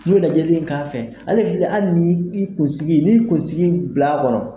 N'u lajɛli in k'a fɛ, ale hali ni i kunsigi ni kunsigi bila kɔnɔ